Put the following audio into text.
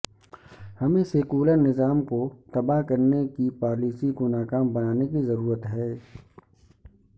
ہمیں سیکولر نظام کو تباہ کرنے کی پالیسی کو ناکام بنانے کی ضرورت ہے